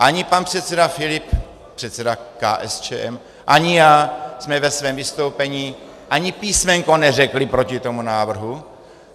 Ani pan předseda Filip, předseda KSČM, ani já jsme ve svém vystoupení ani písmenko neřekli proti tomu návrhu.